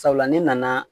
Sabula ne nana